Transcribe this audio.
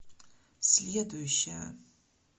следующая